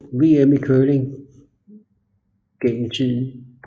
VM i curling for mænd gennem tiden